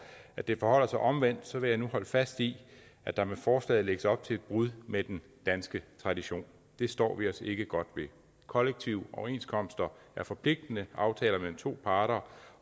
at det forholder sig omvendt vil jeg nu holde fast i at der med forslaget lægges op til et brud med den danske tradition det står vi os ikke godt ved kollektive overenskomster er forpligtende aftaler mellem to parter